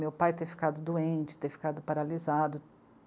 Meu pai ter ficado doente, ter ficado paralisado.